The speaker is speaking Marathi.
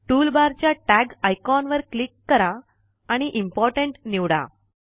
टूलबार च्या टॅग आयकॉन वर क्लिक करा आणि इम्पोर्टंट निवडा